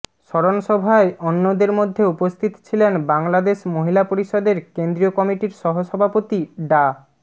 স্মরণসভায় অন্যদের মধ্যে উপস্থিত ছিলেন বাংলাদেশ মহিলা পরিষদের কেন্দ্রীয় কমিটির সহসভাপতি ডা